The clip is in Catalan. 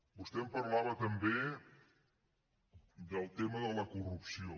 vostè em parlava també del tema de la corrupció